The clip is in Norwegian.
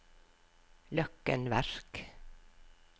Løkken Verk